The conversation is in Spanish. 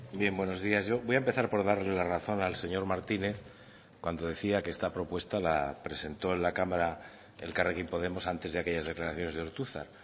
bien buenos días yo voy a empezar por darle la razón al señor martínez cuando decía que esta propuesta la presentó en la cámara elkarrekin podemos antes de aquellas declaraciones de ortuzar